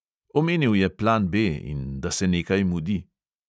Omenil je plan B ... in da se nekaj mudi ...